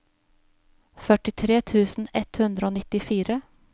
førtitre tusen ett hundre og nittifire